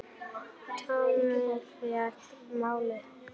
Thomas fékk málið aftur.